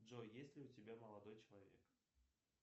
джой есть ли у тебя молодой человек